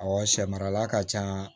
Awɔ sɛ marala ka ca